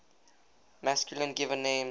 masculine given names